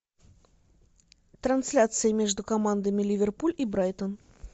трансляция между командами ливерпуль и брайтон